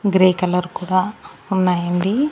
Grey colour కూడా ఉన్నాయండి.